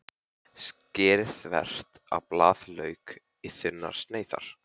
Skerið þvert á blaðlauk í þunnar sneiðar.